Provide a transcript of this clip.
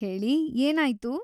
ಹೇಳಿ, ಏನಾಯ್ತು?